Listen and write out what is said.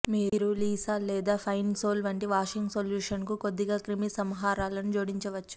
మీరు లిసాల్ లేదా Pine Sol వంటి వాషింగ్ సొల్యూషన్కు కొద్దిగా క్రిమిసంహారాలను జోడించవచ్చు